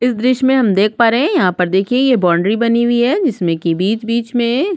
इस द्र्श्य में हम देख पा रहे हे यहाँ पर देखिए ये बाउंड्री बनी हुई हैं जिसमें की बीच-बीच में--